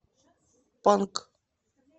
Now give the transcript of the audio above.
панк